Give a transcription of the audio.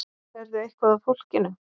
Sérðu eitthvað af fólkinu?